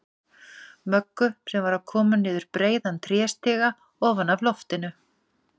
Möggu, sem var að koma niður breiðan tréstiga ofan af lofti.